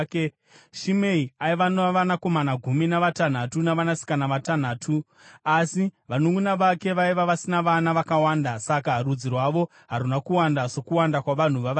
Shimei aiva navanakomana gumi navatanhatu navanasikana vatanhatu, asi vanunʼuna vake vaiva vasina vana vakawanda; saka rudzi rwavo haruna kuwanda sokuwanda kwavanhu vavaJudha.